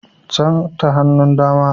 Can ta hannun dama